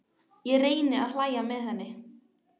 Ég reyni að hlæja með henni.